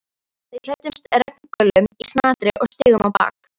Við klæddumst regngöllum í snatri og stigum á bak.